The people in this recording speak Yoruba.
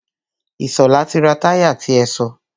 Ìṣọ̀lá ti ra táyà ti ẹ sọ.